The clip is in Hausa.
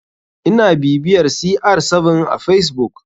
Ina bibiyar cr7 a facebook.